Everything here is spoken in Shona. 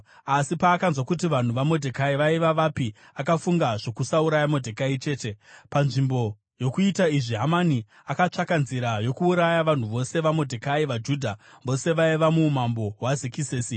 Asi paakanzwa kuti vanhu vaModhekai vaiva vapi akafunga zvokusauraya Modhekai chete. Panzvimbo yokuita izvi, Hamani akatsvaka nzira yokuuraya vanhu vose vaModhekai, vaJudha vose vaiva muumambo hwaZekisesi.